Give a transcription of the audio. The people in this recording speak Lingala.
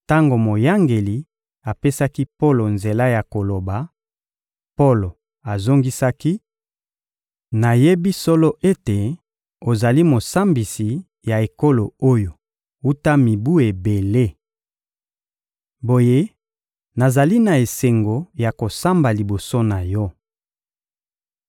Tango moyangeli apesaki Polo nzela ya koloba, Polo azongisaki: — Nayebi solo ete ozali mosambisi ya ekolo oyo wuta mibu ebele. Boye, nazali na esengo ya kosamba liboso na yo.